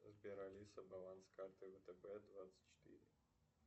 сбер алиса баланс карты втб двадцать четыре